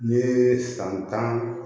N ye san tan